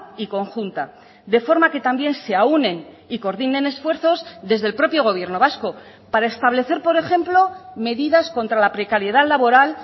y conjunta de forma que también se aúnen y coordinen esfuerzos desde el propio gobierno vasco para establecer por ejemplo medidas contra la precariedad laboral